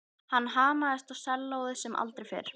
Hann hamaðist á sellóið sem aldrei fyrr.